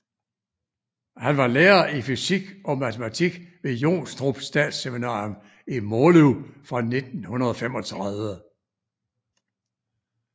Han var lærer i fysik og matematik ved Jonstrup Statsseminarium i Måløv fra 1935